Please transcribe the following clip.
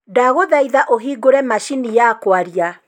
ndaguthaitha ũhingũre macini ya kwaria.